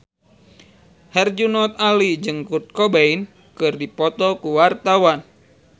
Herjunot Ali jeung Kurt Cobain keur dipoto ku wartawan